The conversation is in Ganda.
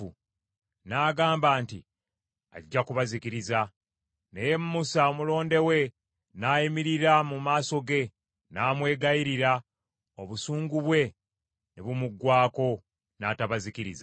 N’agamba nti, Ajja kubazikiriza. Naye Musa, omulonde we, n’ayimirira mu maaso ge n’amwegayirira, obusungu bwe ne bumuggwaako n’atabazikiriza.